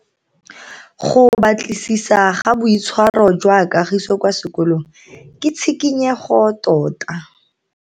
Go batlisisa ka boitshwaro jwa Kagiso kwa sekolong ke tshikinyego tota.